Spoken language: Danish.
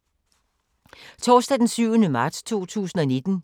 Torsdag d. 7. marts 2019